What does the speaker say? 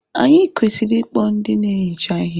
Anyị kwesịrị ịkpọ ndị na-ehicha ihe.